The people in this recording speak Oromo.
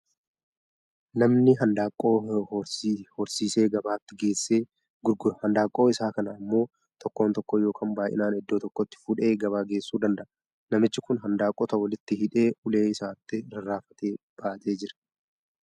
Namni handaaqqoo hirsiisee gabaatti geesse gurgura. Handaaqqoo isaa kana immoo tokko tokkoon yookaan baay'inaan iddoo tokkotti fuudhee gabaa geessuu danda'a. Namichi kun handaaqqota walitti hidhee ulee isaatti rarraafatee baatee jira.